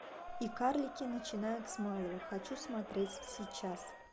и карлики начинают с малого хочу смотреть сейчас